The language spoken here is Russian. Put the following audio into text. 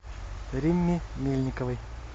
римме мельниковой